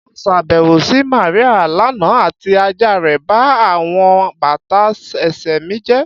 Mo ṣabẹwo si Maria lana ati aja rẹ ba awọn bata ẹsẹ mi jẹ